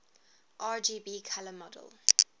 rgb color model